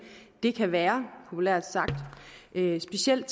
det kan være populært sagt specielt